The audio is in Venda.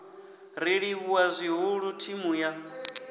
ri livhuwa zwihulu thimu ya